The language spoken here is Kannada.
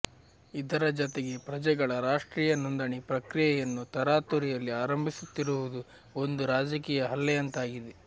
ಇದರ ಜತೆಗೆ ಪ್ರಜೆಗಳ ರಾಷ್ಟ್ರೀಯ ನೋಂದಣಿ ಪ್ರಕ್ರಿಯೆಯನ್ನು ತರಾತುರಿಯಲ್ಲಿ ಆರಂಭಿಸುತ್ತಿರುವುದೂ ಒಂದು ರಾಜಕೀಯ ಹಲ್ಲೆಯಂತಾಗಿದೆ